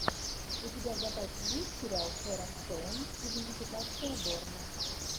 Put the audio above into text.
у тебя в запасе есть сериал с шерон стоун идентификация борна